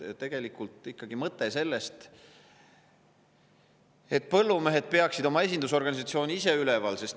See on ikkagi mõte sellest, et põllumehed peaksid oma esindusorganisatsiooni ise üleval.